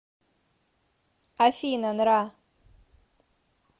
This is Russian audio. афина нра